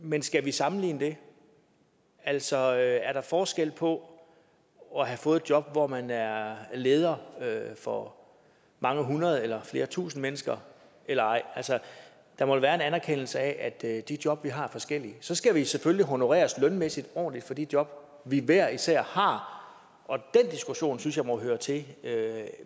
men skal vi sammenligne det altså er der forskel på at have fået et job hvor man er leder for mange hundrede eller flere tusind mennesker eller ej altså der må jo være en anerkendelse af at de job vi har er forskellige så skal vi selvfølgelig honoreres lønmæssigt ordentligt for de job vi hver især har og den diskussion synes jeg må høre til